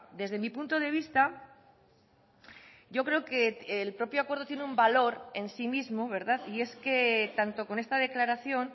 desde mi punto de vista yo creo que el propio acuerdo tiene un valor en sí mismo y es que tanto con esta declaración